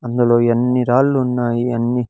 అందులో ఎన్ని రాళ్ళున్నాయి అన్ని--